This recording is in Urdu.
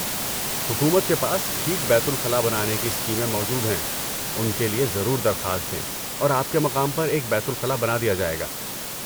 حکومت کے پاس ٹھیک بیت الخلا بنانے کی اسکیمیں موجود ہیں، ان کے لیے ضرور درخواست دیں اور آپ کے مقام پر ایک بیت الخلا بنا دیا جائے گا۔